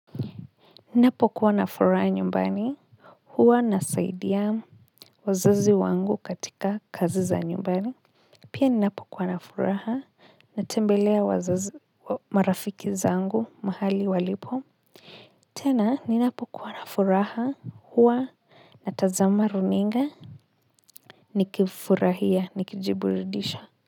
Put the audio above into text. Ninapokuwa na furaha nyumbani, huwa nasaidia wazazi wangu katika kazi za nyumbani pia ninapokuwa na furaha natembelea marafiki zangu mahali walipo. Tena ninapokuwa na furaha huwa natazama runinga nikifurahia nikijiburudisha.